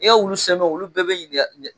I ka wulu sen fɛ wulu bɛɛ bɛ ɲiniŋa i ka